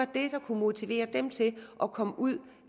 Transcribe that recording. det der kunne motivere dem til at komme ud